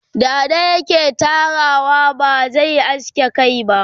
dada yake Tarawa ba zai aske Kai ba